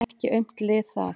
Ekki aumt lið það.